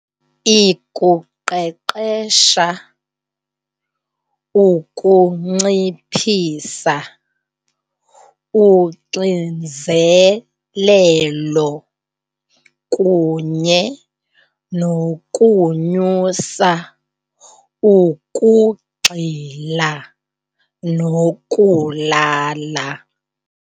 Ikuqeqesha ukunciphisa uxinzelelo kunye nokunyusa ukugxila nokulala.